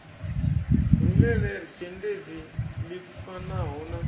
rumele dzhendedzi ḽi fanaho na